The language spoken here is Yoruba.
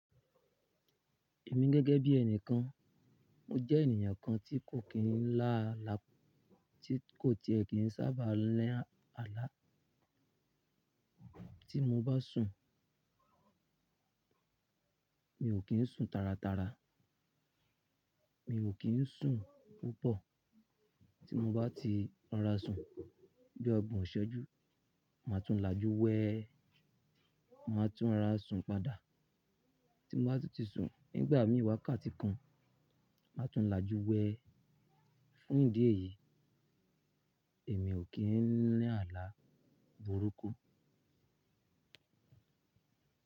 Èmi gẹ́gẹ́ bí ẹni kan, mo jẹ́ ènìyàn kan tí kò kí n lá àlá tí kò tiẹ̀ kí n sábàá ni àlá. Tí mo bá sùn, mi ò kí n sùn taratara, mi ò kí n sùn púpọ̀. Tí mo bá ti rora sùn bí ọgbọ̀n ìṣẹ́jú, màá tún lajú wẹ́e, màá tún rorà sùn padà. Tí mo bá ti sùn nígbà mí i wákàtí kan, màá tún lajú wẹ́e. Fún ìdí èyí, èmi ò kí n ni àlá burúkú.